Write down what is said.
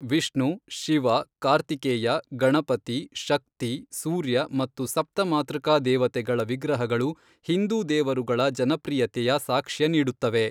ವಿಷ್ಣು, ಶಿವ, ಕಾರ್ತಿಕೇಯ, ಗಣಪತಿ, ಶಕ್ತಿ, ಸೂರ್ಯ ಮತ್ತು ಸಪ್ತ ಮಾತೃಕಾ ದೇವತೆಗಳ ವಿಗ್ರಹಗಳು ಹಿಂದೂ ದೇವರುಗಳ ಜನಪ್ರಿಯತೆಯ ಸಾಕ್ಷ್ಯ ನೀಡುತ್ತವೆ.